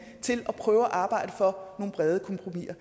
til at prøve at arbejde for nogle brede kompromiser